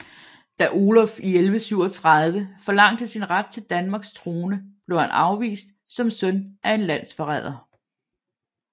Da Oluf i 1137 forlangte sin ret til Danmarks trone blev han afvist som søn af en landsforræder